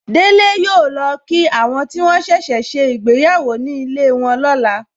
Délé yọ lọ kí àwọn tí wọ́n ṣẹ̀ṣẹ̀ ṣe ìgbéyàwó ní ilé wọn lọ́la.